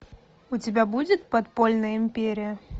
у тебя будет подпольная империя